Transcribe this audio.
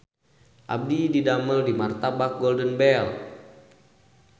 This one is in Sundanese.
Abdi didamel di Martabak Golden Bell